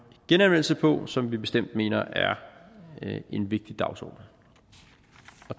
genanvendelse på som vi bestemt mener er en vigtig dagsorden